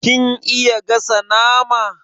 Kin iya gasa nama?